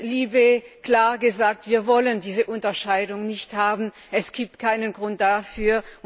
LIBE klar gesagt Wir wollen diese Unterscheidung nicht haben, es gibt keinen Grund dafür.